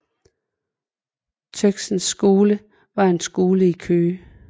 Tøxens Skole var en skole i Køge